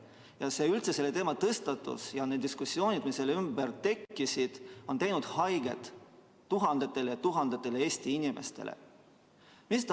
Ja üldse selle teema tõstatus ja need diskussioonid, mis selle ümber tekkisid, on teinud haiget tuhandetele ja tuhandetele Eesti inimestele.